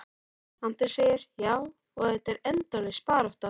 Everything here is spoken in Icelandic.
Andri: Já, og þetta er endalaus barátta?